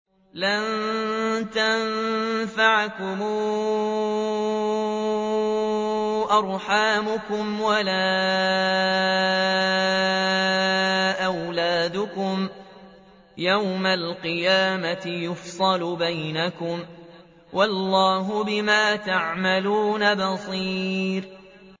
لَن تَنفَعَكُمْ أَرْحَامُكُمْ وَلَا أَوْلَادُكُمْ ۚ يَوْمَ الْقِيَامَةِ يَفْصِلُ بَيْنَكُمْ ۚ وَاللَّهُ بِمَا تَعْمَلُونَ بَصِيرٌ